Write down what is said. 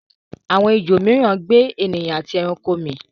awọn ejò míràn gbe ènìyàn ati ẹranko mi.